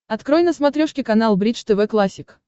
открой на смотрешке канал бридж тв классик